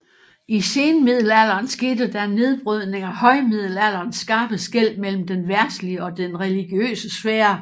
I senmiddelalderen skete der en nedbrydning af højmiddelalderens skarpe skel mellem den verdslige og den religiøse sfære